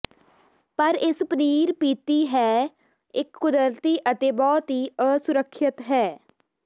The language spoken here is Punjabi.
ਪਰ ਇਸ ਪਨੀਰ ਪੀਤੀ ਹੈ ਇੱਕ ਕੁਦਰਤੀ ਅਤੇ ਬਹੁਤ ਹੀ ਅਸੁਰੱਖਿਅਤ ਹੈ